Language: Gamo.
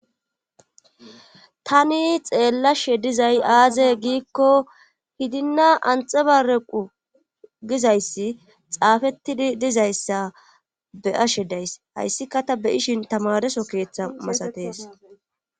tani xeellashe dizay aaze giikko hidinna anxebarequ gizayssi xaafettidi dizayssa be'ashe days hayssika ta be ishin tamareso keeththa masatees